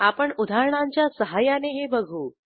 आपण उदाहरणांच्या सहाय्याने हे बघू